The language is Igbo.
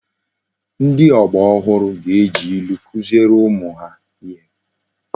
Ndi ogba ohuru ga eji ilu kuziere umu ha ihe